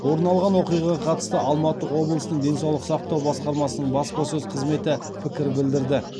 орын алған оқиғаға қатысты алматы облысының денсаулық сақтау басқармасының баспасөз қызметі пікір білдірді